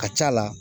A ka ca la